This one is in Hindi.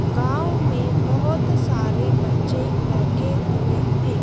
गांव में बहुत सारे बच्चे बैठे हुए हैं।